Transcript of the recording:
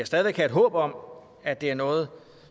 stadig væk have et håb om at det er noget